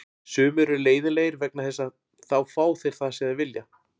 Sumir eru leiðinlegir vegna þess að þá fá þeir það sem þeir vilja.